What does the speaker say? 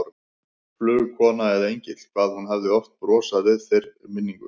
Flugkona eða engill, hvað hún hafði oft brosað við þeirri minningu.